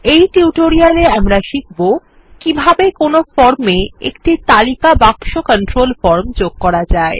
এই টিউটোরিয়ালে আমরা শিখব কিভাবে কোনো ফর্মে একটি তালিকা বাক্স ফর্ম কন্ট্রোল যোগ করা যায়